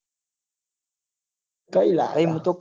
કઈ અલ્યા